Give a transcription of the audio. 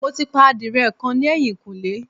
Mo ti pa adìrẹ kan ní ẹ̀yìnkùlé